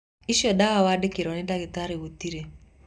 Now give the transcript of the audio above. Icio dawa wandĩkĩirwo nĩ dagĩtarĩ gũtire